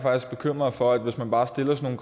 bekymret for hvis man bare stiller sådan